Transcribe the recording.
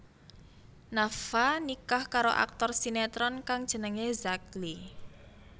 Nafa nikah karo aktor sinetron kang jenengé Zack Lee